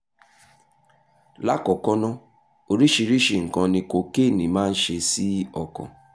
lákọ̀ọ́kọ́ ná oríṣiríṣi nǹkan ni kokéènì máa ń ṣe sí ọkàn